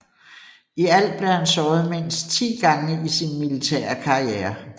I alt blev han såret mindst 10 gange i sin militære karriere